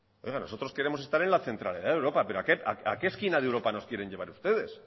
nosotros queremos estar en la centralidad de europa pero a qué esquina de europa nos quieren llevar ustedes